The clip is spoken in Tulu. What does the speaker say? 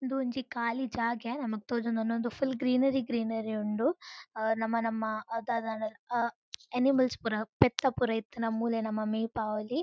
ಇಂದು ಒಂಜಿ ಖಾಲಿ ಜಾಗೆ ನಮಕ್ ತೋಜೊಂದುಂಡು ಉಂದು ಫುಲ್ ಗ್ರೀನರಿ ಗ್ರೀನರಿ ಉಂಡು. ಆ ನಮ ನಮ್ಮ ದಾದಾಂಡಲ ಆ ಎನಿಮಲ್ಸ್ ಪುರ ಪೆತ್ತ ಪುರ ಇತ್ತ್ಂಡ ಮೂಲೆ ನಮ ಮೇಪಾವೊಲಿ.